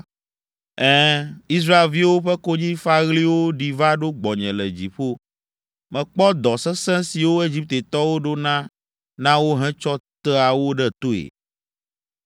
Ɛ̃, Israelviwo ƒe konyifaɣliwo ɖi va ɖo gbɔnye le dziƒo. Mekpɔ dɔ sesẽ siwo Egiptetɔwo ɖona na wo hetsɔ tea wo ɖe toe.